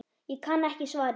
Ég kann ekki svarið.